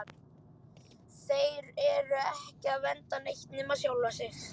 Þeir eru ekki að vernda neitt nema sjálfa sig!